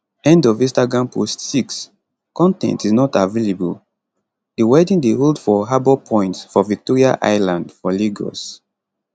end of instagram post 6 con ten t is not available di wedding dey hold for harbour point for victoria island for lagos